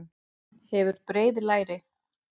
Hefur breið læri.